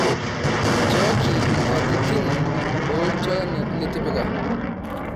nchooki nkatitin ooltualan litipika